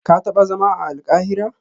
Ka taba zama a Alkahira?